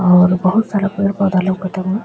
और बहुत सारा पेड़-पौधा लउकत बाड़े।